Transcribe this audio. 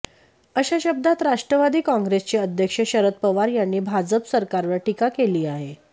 अशा शब्दांत राष्ट्रवादी काँग्रेसचे अध्यक्ष शरद पवार यांनी भाजप सरकारवर टीका केली आहे